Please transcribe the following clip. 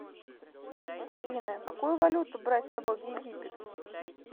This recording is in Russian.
афина какую валюту брать с собой в египет